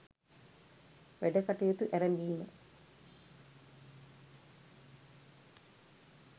වැඩ කටයුතු ඇරඹීම